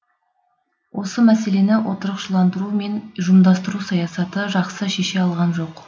осы мәселені отырықшыландыру мен ұжымдастыру саясаты жақсы шеше алған жоқ